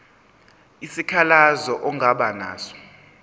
isikhalazo ongaba naso